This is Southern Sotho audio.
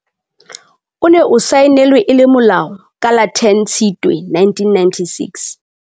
O ne o saenelwe e le molao ka la 10 Tshitwe 1996.